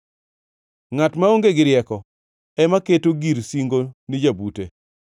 Ngʼat maonge gi rieko ema keto gir singo ne jabute.